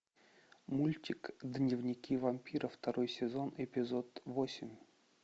мультик дневники вампира второй сезон эпизод восемь